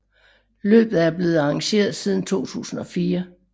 Løbet er blevet arrangeret siden 2004